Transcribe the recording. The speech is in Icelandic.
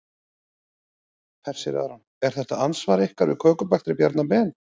Hersir Aron: Er þetta andsvar ykkar við kökubakstri Bjarna Ben?